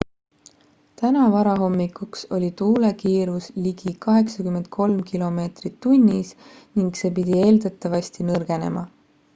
täna varahommikuks oli tuule kiirus ligi 83 km/h ning see pidi eeldatavasti nõrgenema